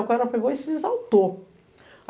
Aí o cara pegou e se exaltou.